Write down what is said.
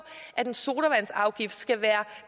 at en sodavandsafgift skal være